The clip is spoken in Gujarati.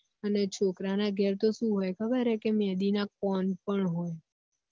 અને છોકરા ના ઘર તો શું હોય ખબર હે કે મેહદી ના કોન પણ હોય